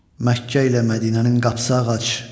Məkkə ilə Mədinənin qapısı ağac.